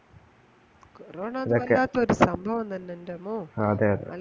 corona വല്ലാത്തൊരു സംഭവം തന്നെ എന്റെ അമ്മോ അതെഅതെ